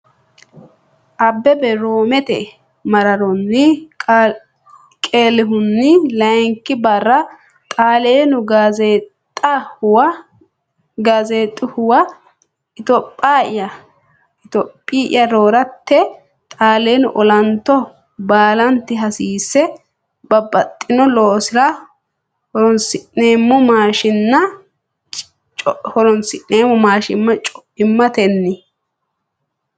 Abbebe Roomete maaraaroone qeelihunni layinki barra Xaaleenu Gaazzeexx uwa “Itophiya horrate Xaaleenu olanto baalanti hasiisse, Babbaxxino loosira horoonsi’neemmo maashiinna co’immatenni?